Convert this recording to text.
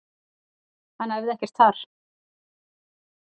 Hann æfði ekkert þar.